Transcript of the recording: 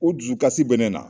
U dusukasi bɛ ne na.